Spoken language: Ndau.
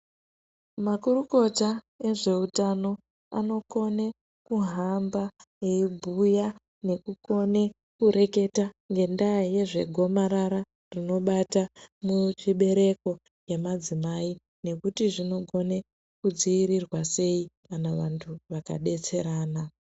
Makurukota ezveutano anokone kuhamba veibhuya nekukone kureketa ngenda yezvegomarara rinobata muzvibereko yemadzimai nekuti zvinogone kudziirirwa sei kana anhu akabetserana.